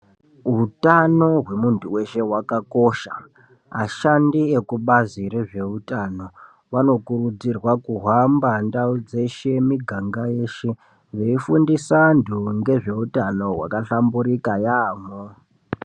Utano hwemuntu weshe hwakakosha. Ashandi ekubazi rezveutano vanokurudzirwa kuhamba ndau dzeshe, muganga yeshe veifundisa antu ngezveutano wakahlamburika yaampho.